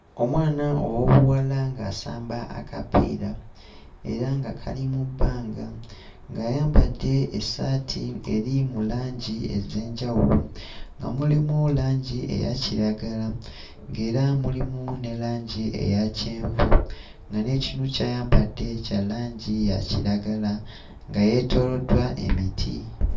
Omwana ow'obuwala ng'asamba akapiira era nga kali mu bbanga, ng'ayambadde essaati eri mu langi ez'enjawulo; nga mulimu langi eya kiragala, ng'era mulimu ne langi eya kyenvu, nga n'ekinu ky'ayambadde kya langi ya kiragala, nga yeetooloddwa emiti.